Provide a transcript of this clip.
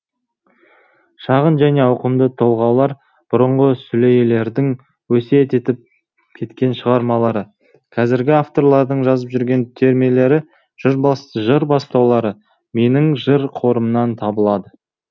шағын және ауқымды толғаулар бұрынғы сүлейлердің өсиет етіп кеткен шығармалары қазіргі авторлардың жазып жүрген термелері жыр бастаулары менің жыр қорымнан табылады